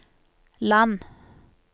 land